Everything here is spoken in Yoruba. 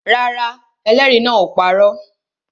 Rárá, ẹlẹ́rìí náà ò parọ́